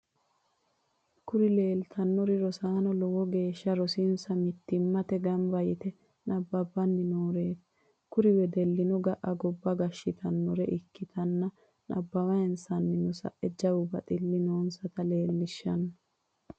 Kuri lelitanori rossano lowo geshsha rosonisa mittimate ganiba yite nabbanni norreti. kuri weddeluno ga’a gobba gashitanore ikitana nabawayinisanni saenno jawu batili nonisatta lelishshano